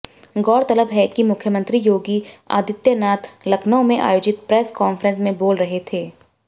गौरतलब है कि मुख्यमंत्री योगी आदित्यनाथ लखनऊ में आयोजित प्रेस कांफ्रेंस में बोल रहे थे